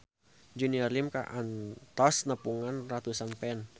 Junior Liem kantos nepungan ratusan fans